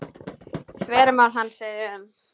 Þvermál hans er um